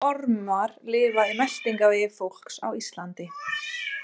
Hvaða ormar lifa í meltingarvegi fólks á Íslandi?